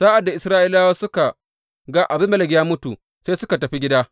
Sa’ad da Isra’ilawa suka ga Abimelek ya mutu, sai suka tafi gida.